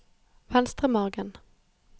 Venstremargen